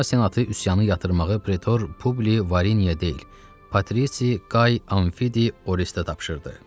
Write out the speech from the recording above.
Roma Senatı üsyanı yatırmağı pretor Publi Variniya deyil, Patrisi Qay Anfidi Orestə tapşırdı.